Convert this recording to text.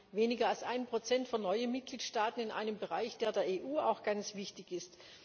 Wir haben weniger als 1 von neuen Mitgliedstaaten in einem Bereich, der der EU auch ganz wichtig ist.